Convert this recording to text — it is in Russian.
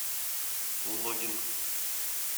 логин